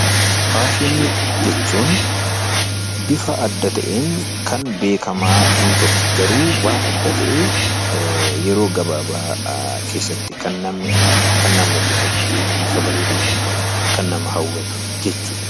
Faashinii jechuun bifa adad ta'eenkan beekamaa hin turre garuu waan addaa ta'ee yeroo gabaabaa keessatti kan namni arge kan namatti tolu bifa bareedaa kan qabu kan nama hawwatu jechuudha.